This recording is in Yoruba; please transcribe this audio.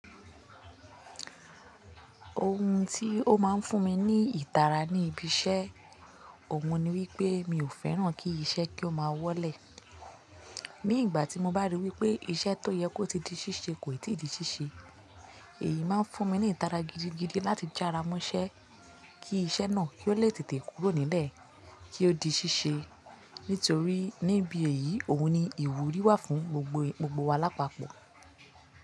Ohun tí ó máa ń fún mi ní ìtara ní ibi iṣẹ́, òun ni wípé mi ò fẹ́ràn kí iṣẹ́ kí ó máa wọ́lẹ̀. Ní ìgbà tí mo bá rí wípé iṣẹ́ tó yẹ kó ti di ṣíṣe kò ì tí di ṣíṣe, èyí máa ń fún mi ní ìtara gidigidi láti jára mọ́ṣẹ́ kí iṣẹ́ náà kí ó lè tètè kúrò nílẹ̀ kí ó di ṣíṣe. Nítorí níbi èyí òun ni ìwúrí wà fún gbogbo gbogbo wa lápapọ̀.